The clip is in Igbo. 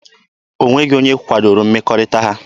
O nweghị onye kwadoro mmekọrịta ha.